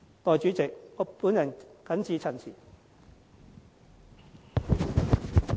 代理主席，我謹此陳辭。